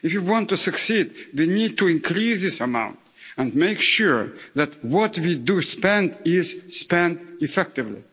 If we want to succeed, we need to increase this amount and make sure that what we do spend is spent effectively.